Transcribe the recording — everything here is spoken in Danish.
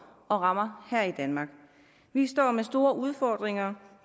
og rammer her i danmark vi står med store udfordringer